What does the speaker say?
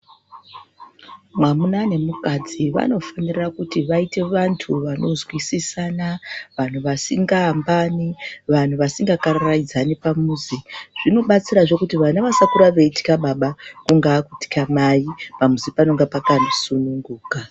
Mwamuna nemukadzi vanofundira kuti vaite vantu vanozwisisana vantu vasingaambani vantu vasingakararaidzani pamuzi. Zvinobatsirazve kuti vana vasakura veitwa baba kungaa kutwa mai pamuzi panonga pakasununguka.